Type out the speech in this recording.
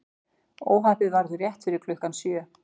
Óhappið varð rétt fyrir klukkan sjö